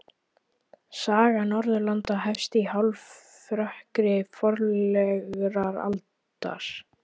Saga Norðurlanda hefst í hálfrökkri forsögulegrar aldar.